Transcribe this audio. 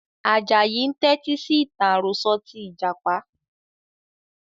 Ajayi ń tẹti sì ìtàn àròsọ̀ tí Ìjàpá